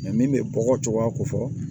min bɛ bɔkɔ cogoya ko fɔ